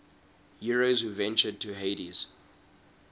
heroes who ventured to hades